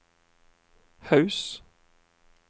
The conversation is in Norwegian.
Haus